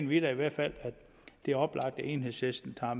vi da i hvert fald at det er oplagt enhedslisten tager